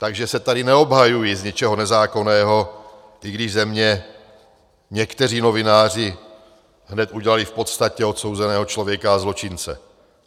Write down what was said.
Takže se tady neobhajuji z něčeho nezákonného, i když ze mě někteří novináři hned udělali v podstatě odsouzeného člověka a zločince.